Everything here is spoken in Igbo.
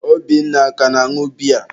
Obinna a ka na-añụ biya?